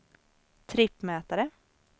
trippmätare